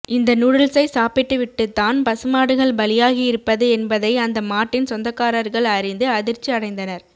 இந்த நூடுல்சை சாப்பிட்டுவிட்டுத்தான் பசுமாடுகள் பலியாகி இருப்பது என்பதை அந்த மாட்டின் சொந்தகாரர்கள் அறிந்து அதிர்ச்சி அடைந்தனர்